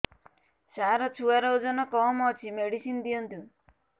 ସାର ଛୁଆର ଓଜନ କମ ଅଛି ମେଡିସିନ ଦିଅନ୍ତୁ